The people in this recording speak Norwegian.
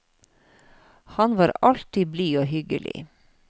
Han var alltid blid og hyggelig.